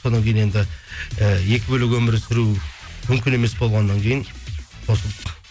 содан кейін енді і екі бөлек өмір сүру мүмкін емес болғаннан кейін қосылдық